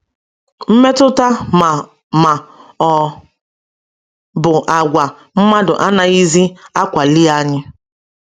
Mmetụta ma ma ọ bụ àgwà mmadụ anaghịzi akwali anyị.